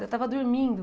Eu estava dormindo.